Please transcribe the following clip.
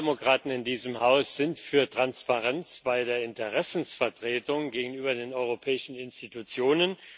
Die Sozialdemokraten in diesem Haus sind für Transparenz bei der Interessensvertretung gegenüber den europäischen Institutionen.